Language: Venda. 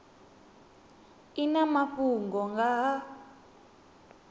i na mafhungo nga ha